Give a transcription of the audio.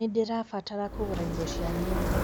Nĩndĩrabatara kũgũra indo cia nyũmba